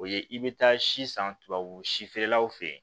O ye i bɛ taa si san tubabu si feerelaw fɛ yen